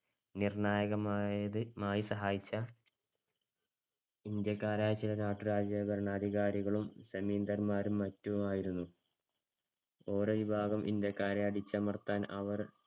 നിർണായകമായത്~ മായി സഹായിച്ച ഇന്ത്യക്കാരായ ചില നാട്ടുരാജ~ ഭരണാധികാരികളും ജമീന്ദാർമാരും മറ്റുമായിരുന്നു. ഓരോ വിഭാഗം ഇന്ത്യക്കാരെ അടിച്ചമർത്താൻ അവർ